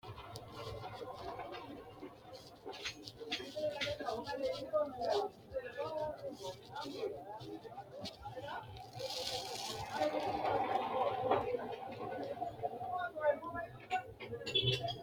Kuri lelitanori balinuku fariso woye siriba dukinise horonsinani uduwati kuri udunuwano umi uminsa babtitino horo uyitaniore ikitana mitu angate godolinaniret.